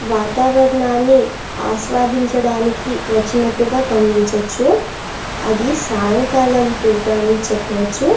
వాతావరణం ని ఆస్వాదించడానికి వచ్చినట్టుగా గమనించవచ్చు అది సాయంకాలం పూట అని చెప్పవచ్చు.